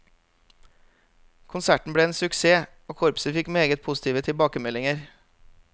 Konserten ble en suksess, og korpset fikk meget positive tilbakemeldinger.